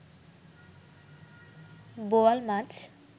বোয়াল মাছ